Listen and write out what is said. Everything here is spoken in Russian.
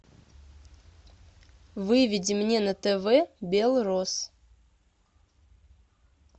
выведи мне на тв белрос